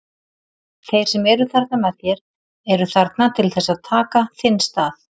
Þeir sem eru þarna með þér eru þarna til þess að taka þinn stað.